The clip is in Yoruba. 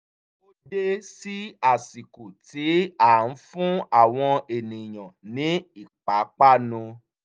o dé sí ásìkò tí a ń fún àwọn ènìyàn ní ìpápánu